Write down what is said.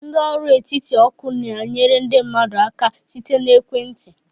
Ndị ọrụ etiti oku na-enyere ndị mmadụ aka site na ekwentị.